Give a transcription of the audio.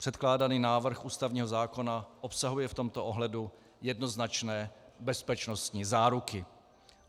Předkládaný návrh ústavního zákona obsahuje v tomto ohledu jednoznačné bezpečnostní záruky.